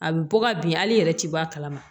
A bɛ bɔ ka bin hali i yɛrɛ ti bɔ a kalama